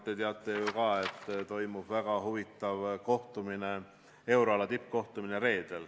Te teate ju ka, et selle nädala reedel toimub väga huvitav euroala tippkohtumine.